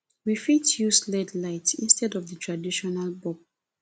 we fit use led lights instead of di traditional bulb